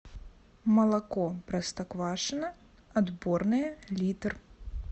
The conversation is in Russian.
молоко простоквашино отборное литр